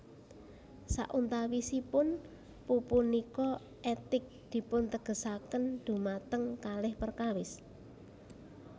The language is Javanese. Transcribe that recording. Sauntawisipun pupunika etik dipuntegesaken dhumateng kalih perkawis